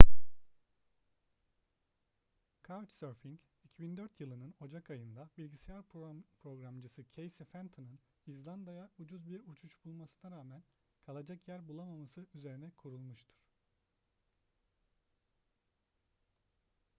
couchsurfing 2004 yılının ocak ayında bilgisayar programcısı casey fenton'ın i̇zlanda'ya ucuz bir uçuş bulmasına rağmen kalacak yer bulamaması üzerine kurulmuştur